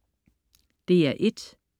DR1: